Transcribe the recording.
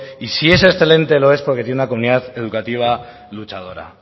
y si es excelente lo es porque tiene una comunidad educativa luchadora